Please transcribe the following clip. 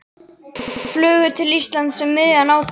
Þau flugu til Íslands um miðjan ágúst.